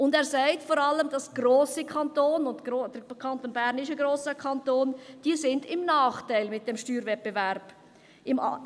Und er sagt, dass vor allem grosse Kantone – der Kanton Bern ist ein grosser Kanton – beim Steuerwettbewerb im Nachteil seien.